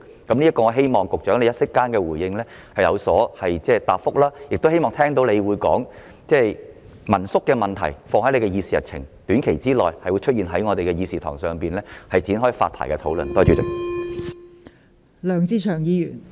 我希望局長稍後可以就此作出回應，亦希望他會說道會把民宿問題納入他的議事日程，讓民宿的發牌問題在短時間內在立法會的議事堂上展開討論。